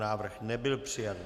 Návrh nebyl přijat.